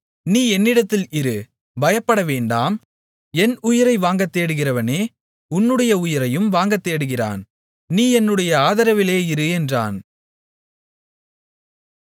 நீ என்னிடத்தில் இரு பயப்படவேண்டாம் என் உயிரை வாங்கத்தேடுகிறவனே உன்னுடைய உயிரையும் வாங்கத்தேடுகிறான் நீ என்னுடைய ஆதரவிலே இரு என்றான்